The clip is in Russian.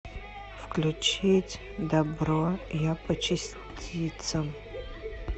включить дабро я по частицам